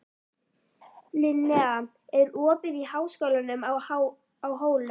Linnea, er opið í Háskólanum á Hólum?